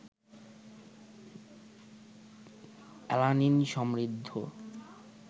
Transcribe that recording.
alanine সমৃদ্ধ